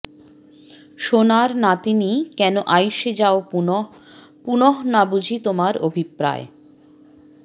সোণার নাতিনি কেন আইস যাও পুনঃ পুনঃ না বুঝি তোমার অভিপ্রায়